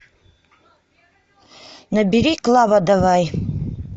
набери клава давай